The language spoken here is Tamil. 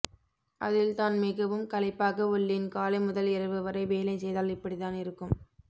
அதில் தான் மிகவும் களைப்பாக உள்ளேன் காலை முதல் இரவு வரை வேலை செய்தால் இப்படிதான் இருக்கும்